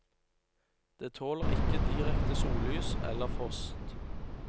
Det tåler ikke direkte sollys eller frost.